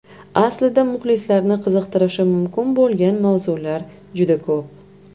Aslida muxlislarni qiziqtirishi mumkin bo‘lgan mavzular juda ko‘p.